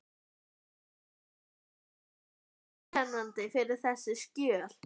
Hvað svona er einkennandi fyrir þessi skjöl?